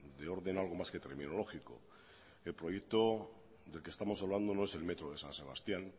de orden algo más que terminológico el proyecto del que estamos hablando no es el metro de san sebastián